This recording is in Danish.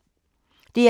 DR K